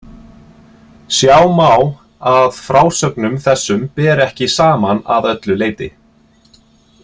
Sjá má að frásögnum þessum ber ekki saman að öllu leyti.